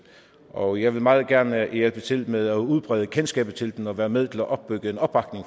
og jeg vil meget gerne hjælpe til med at udbrede kendskabet til den og være med til opbygge en opbakning